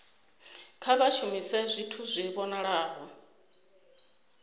kha vha shumise zwithu zwi vhonalaho